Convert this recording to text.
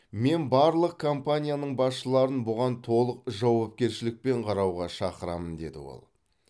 мен барлық компанияның басшыларын бұған толық жауапкершілікпен қарауға шақырамын деді ол